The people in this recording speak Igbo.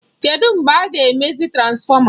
Kedụ mgbe a ga-emezi transfọma?